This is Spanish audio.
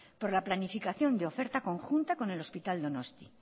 por la planificación de oferta conjunta con el hospital donostia